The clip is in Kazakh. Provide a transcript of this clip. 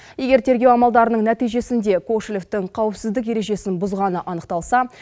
егер тергеу амалдарының нәтижесінде кошелевтің қауіпсіздік ережесін бұзғаны анықталса